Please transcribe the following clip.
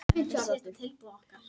Við spiluðum vel.